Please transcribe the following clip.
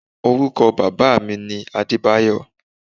Orúkọ bàbáà mi ni Adébáyọ̀